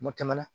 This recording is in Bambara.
Mɔ tɛmɛna